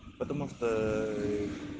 потому что ээ